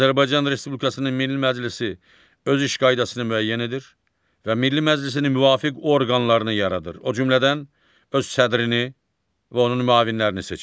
Azərbaycan Respublikasının Milli Məclisi öz iş qaydasını müəyyən edir və Milli Məclisin müvafiq orqanlarını yaradır, o cümlədən öz sədrini və onun müavinlərini seçir.